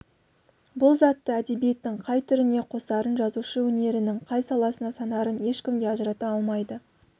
бұл затты әдебиеттің қай түріне қосарын жазушы өнерінің қай саласына санарын ешкім де ажырата алмайды